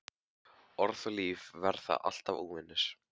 Orð og líf verða alltaf óvinir.